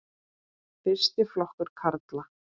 Fyrsti flokkur karla.